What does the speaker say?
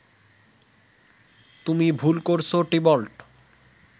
তুমি ভুল করছ টিবল্ট